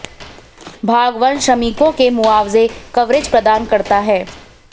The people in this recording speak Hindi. भाग वन श्रमिकों के मुआवजे कवरेज प्रदान करता है